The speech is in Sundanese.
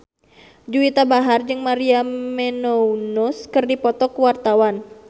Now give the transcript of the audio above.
Juwita Bahar jeung Maria Menounos keur dipoto ku wartawan